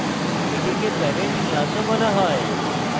এটিকে parent class ও বলা হয়